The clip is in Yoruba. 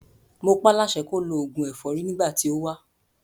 Mo pá láṣẹ kó lo òògùn ẹ̀fọ́rí nígbà tí ó wá.